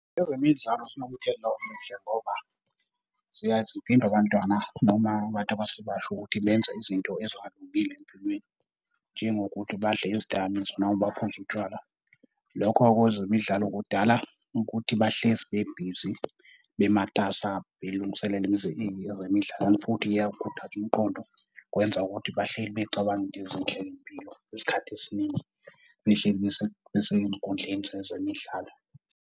Ezemidlalo zinomuthelela omuhle ngoba ziyaye zivimbe abantwana noma abantu abasebasha ukuthi benze izinto ezingalungile empilweni, njengokuthi badle izidakamizwa noma baphuze utshwala. Lokho-ke kwezemidlalo kudala ukuthi bahlezi bebhizi bematasa belungiselele ezemidlalo and futhi iyawukhuthaza umqondo, kwenza ukuthi bahleli becabanga into ezinhle ngempilo isikhathi esiningi behleli besey'nkundleni zezemidlalo.